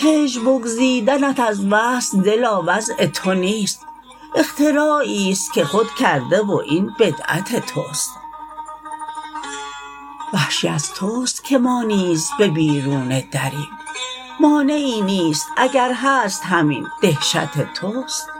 هجر بگزیدنت از وصل دلا وضع تو نیست اختراعیست که خود کرده و این بدعت تست وحشی از تست که ما نیز به بیرون دریم مانعی نیست اگر هست همین دهشت تست